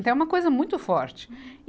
Então é uma coisa muito forte. Uhum.